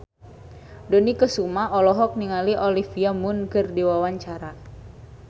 Dony Kesuma olohok ningali Olivia Munn keur diwawancara